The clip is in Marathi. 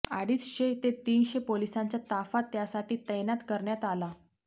अडीचशे ते तीनशे पोलिसांचा ताफा त्यासाठी तैनात करण्यात आला